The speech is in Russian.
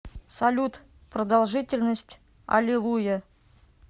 салют продолжительность алилуйя